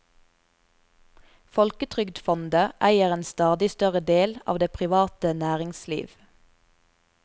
Folketrygdfondet eier en stadig større del av det private næringsliv.